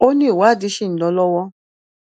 ó ní ìwádìí ṣì ń lọ lọwọ